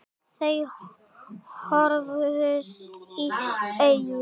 Þau horfðust í augu.